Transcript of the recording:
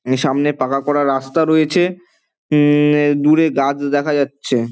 সামনে পাকা করা রাস্তা রয়েছে। উম-দূরে দেখা যাচ্ছে--